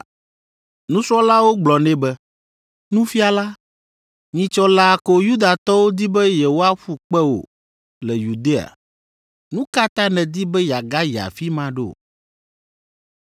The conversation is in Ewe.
Nusrɔ̃lawo gblɔ nɛ be, “Nufiala, nyitsɔ laa ko Yudatɔwo di be yewoaƒu kpe wò le Yudea, nu ka ta nèdi be yeagayi afi ma ɖo?”